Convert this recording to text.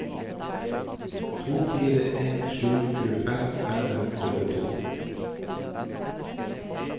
to fire en sju tjuefem fem hundre og to